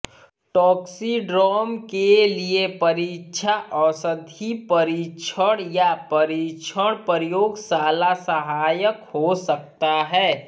toxidrome के लिए परीक्षा औषधि परीक्षण या परीक्षण प्रयोगशाला सहायक हो सकता है